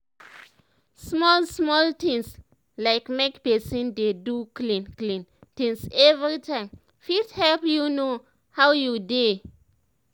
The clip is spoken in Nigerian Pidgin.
small small things like make pesin dey do clean clean things every time fit help you know how you dey